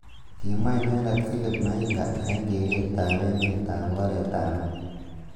Kimwa inendet Philip Mainga eng keret ab emet ab oret ab mat.